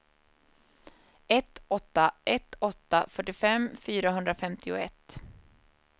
ett åtta ett åtta fyrtiofem fyrahundrafemtioett